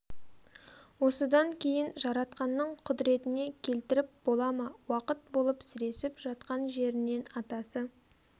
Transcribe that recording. осыдан кейін жаратқанның құдретіне келтіріп бола ма уақыт болып сіресіп жатқан жерінен атасы